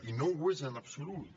i no ho és en absolut